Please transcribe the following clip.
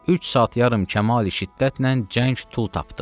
Üç saat yarım kəmal şiddətlə cəng tut tapdı.